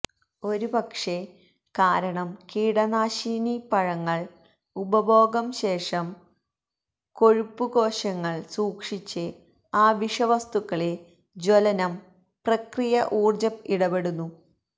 ഒരുപക്ഷെ കാരണം കീടനാശിനി പഴങ്ങൾ ഉപഭോഗം ശേഷം കൊഴുപ്പ് കോശങ്ങൾ സൂക്ഷിച്ച് ആ വിഷവസ്തുക്കളെ ജ്വലനം പ്രക്രിയ ഊർജ്ജ ഇടപെടുന്നു